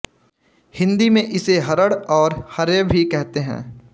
हिन्दी में इसे हरड़ और हर्रे भी कहते हैं